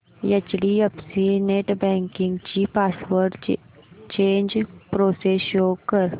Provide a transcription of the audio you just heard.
HDFC netbanking ची password change process show कर